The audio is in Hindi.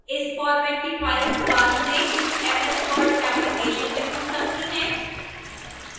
इस फॉर्मेट की files बाद में ms word application में खुल सकती हैं